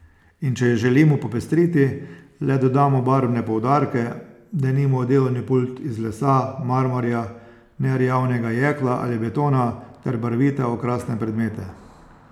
In če jo želimo popestriti, le dodamo barvne poudarke, denimo delovni pult iz lesa, marmorja, nerjavnega jekla ali betona ter barvite okrasne predmete.